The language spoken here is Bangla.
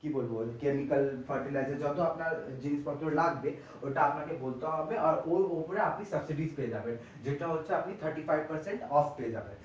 কি বলবো chemical fertilizer যত আপনার জিনিস্পত্র লাগবে ওটা আপনাকে বলতে হবে আর ওর ওপরে আপনি subsidy পেয়ে যাবেন যেটা হচ্ছে আপনি thirty-five percent off পেয়ে যাবেন।